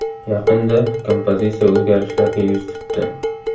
Yaqinda kompozitsiya o‘zgarishlarga yuz tutdi.